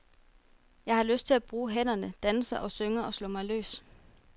Jeg har lyst til at bruge hænderne, danse og synge og slå mig løs.